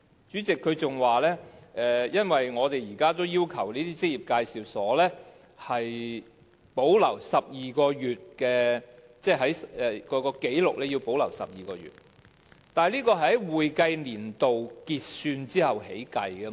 主席，局長還說他們現時已要求職業介紹所必須保留12個月的紀錄，但局長，這其實是在會計年度完結後才開始計算的。